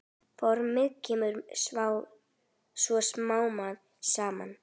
Formið kemur svo smám saman.